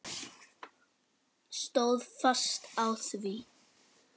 Stóð fast á því.